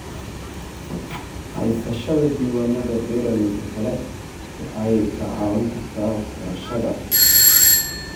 Haysashada diiwaannada beeralayda kale waxay kaa caawin kartaa waxbarashada.